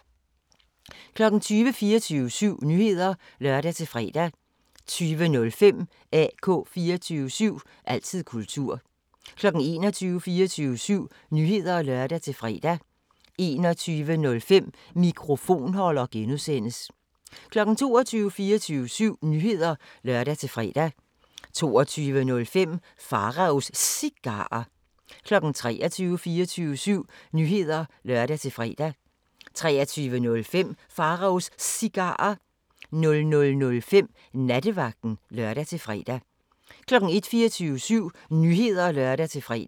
20:00: 24syv Nyheder (lør-fre) 20:05: AK 24syv – altid kultur 21:00: 24syv Nyheder (lør-fre) 21:05: Mikrofonholder (G) 22:00: 24syv Nyheder (lør-fre) 22:05: Pharaos Cigarer 23:00: 24syv Nyheder (lør-fre) 23:05: Pharaos Cigarer 00:05: Nattevagten (lør-fre) 01:00: 24syv Nyheder (lør-fre)